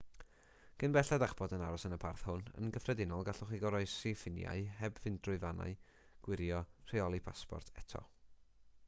cyn belled â'ch bod yn aros yn y parth hwn yn gyffredinol gallwch chi groesi ffiniau heb fynd trwy fannau gwirio rheoli pasport eto